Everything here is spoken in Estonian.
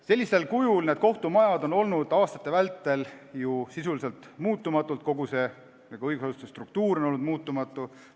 Sellisel kujul on need kohtumajad olnud aastate vältel sisuliselt muutumatud, kogu see õigusasutuste struktuur on olnud muutumatu.